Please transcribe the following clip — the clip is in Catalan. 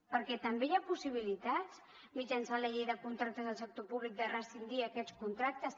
perquè també hi ha possibilitats mitjançant la llei de contractes del sector públic de rescindir aquests contractes